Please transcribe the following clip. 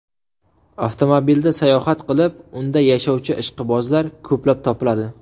Avtomobilda sayohat qilib, unda yashovchi ishqibozlar ko‘plab topiladi.